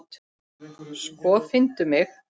Sko, finndu mig.